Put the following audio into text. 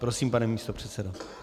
Prosím, pane místopředsedo.